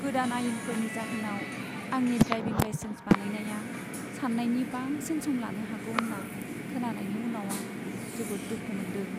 गोदान आयेनफोरनि जाहोनाव आंनि ड्राइभिं लाइसेन्स बानायनाया सान्नायनि बांसिन सम लानो हागौ होन्ना खोनानायनि उनाव आं जोबोद दुखु मोनदों।